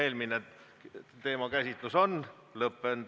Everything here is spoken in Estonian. Eelmine teemakäsitlus on lõppenud.